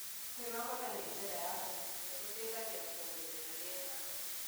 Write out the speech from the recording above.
Kwĩnogora na njĩra ya kũhũhĩa gũteĩthagĩa kũongerera rĩera